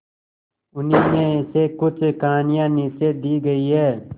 उन्हीं में से कुछ कहानियां नीचे दी गई है